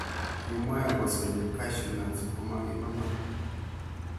Kimoe kosoyo cashew nuts komokikonor.